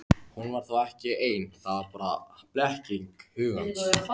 Hún var þá ekki ein, það var bara blekking hugans.